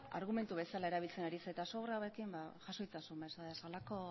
argumentu bezala erabiltzen ari zarena eta hauekin jaso itzazu mesedez holako